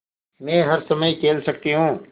मै हर समय खेल सकती हूँ